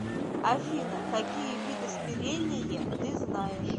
афина какие виды смирение ты знаешь